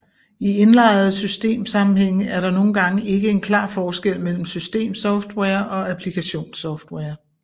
I indlejrede system sammenhænge er der nogle gange ikke en klar forskel mellem systemsoftware og applikationssoftware